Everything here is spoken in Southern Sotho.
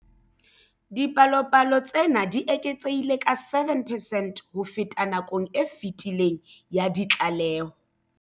Dipalopalo tsena di eketsehile ka 7 percent ho feta nakong e fetileng ya ditlaleho.